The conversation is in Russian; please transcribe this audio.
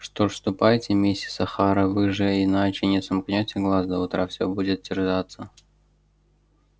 что ж ступайте миссис охара вы же иначе не сомкнёте глаз до утра все будете терзаться